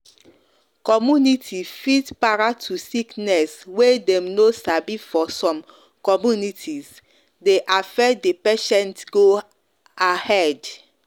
community fit para to sickness way dem no sabi for some communitiese dey affect the patient go ahead.